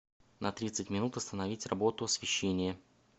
на тридцать минут остановить работу освещение